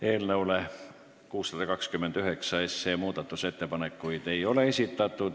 Eelnõu 629 muutmiseks ettepanekuid ei ole esitatud.